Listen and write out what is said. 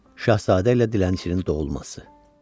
Şahzadə ilə dilənçinin doğulması.